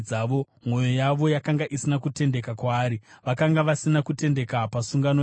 mwoyo yavo yakanga isina kutendeka kwaari, vakanga vasina kutendeka pasungano yake.